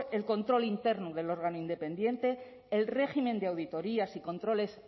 el control interno del órgano independiente el régimen de auditorías y controles